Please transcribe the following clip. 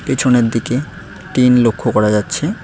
পিছনের দিকে টিন লক্ষ্য করা যাচ্ছে।